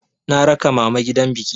Na raka mama gidan biki.